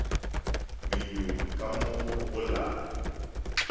menyung ka mo go la